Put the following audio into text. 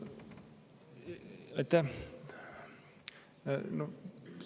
Aitäh!